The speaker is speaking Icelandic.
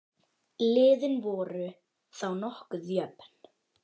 Liðin voru þá nokkuð jöfn.